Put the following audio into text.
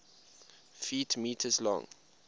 ft m long